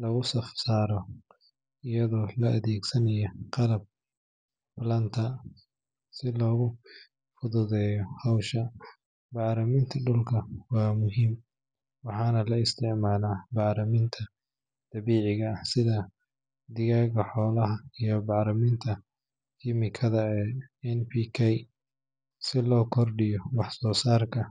lagu saf saaro, iyadoo la adeegsanayo qalab planter si loo fududeeyo hawsha. Bacriminta dhulka waa muhiim, waxaana la isticmaalaa bacriminta dabiiciga ah sida digada xoolaha iyo bacriminta kiimikada ee NPK si loo kordhiyo wax-soosaarka.